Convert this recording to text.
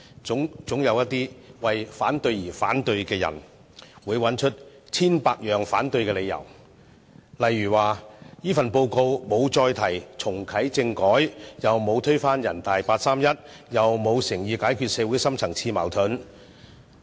總有一些為反對而反對的人，能找出千百個反對的理由，例如說這份報告並沒有提出重啟政改，亦沒有推翻人大八三一，更沒有誠意解決社會的深層次矛盾。